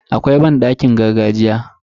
Akwai banɗakin gargajiya.